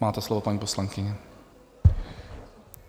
Máte slovo, paní poslankyně.